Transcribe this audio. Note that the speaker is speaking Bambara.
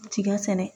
Cikɛ sɛnɛ